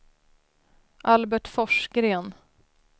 Albert Forsgren